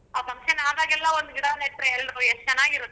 ಆ function ಆದಾಗೆಲ್ಲ ಒಂದ್ ಗಿಡ ನೆಟ್ರೇ ಎಲ್ರೂ ಎಷ್ಟ ಚನಾಗಿರತ್ತೆ.